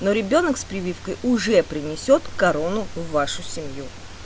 но ребёнок с прививкой уже принесёт корону в вашу семью